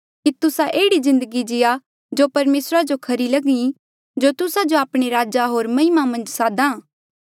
कि तुस्सा एह्ड़ी जिन्दगी जिया जो परमेसरा जो खरी लगे जो तुस्सा जो आपणे राज होर महिमा मन्झ साद्हा